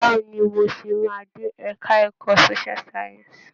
Báwo ni mo ṣe máa dé ẹ̀ka ẹ̀kọ́ Social science?